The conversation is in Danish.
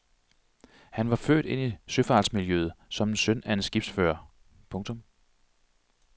Han var født ind i søfartsmiljøet som søn af en skibsfører. punktum